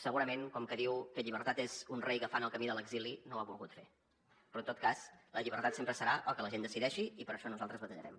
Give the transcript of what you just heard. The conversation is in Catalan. segurament com que diu que la llibertat és un rei agafant el camí de l’exili no ho ha volgut fer però en tot cas la llibertat sempre serà el que la gent decideixi i per això nosaltres batallarem